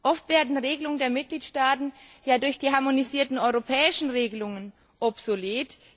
Oft werden Regelungen der Mitgliedstaaten ja durch die harmonisierten europäischen Regelungen obsolet.